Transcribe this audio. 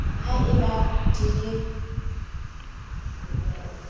ha e ba di le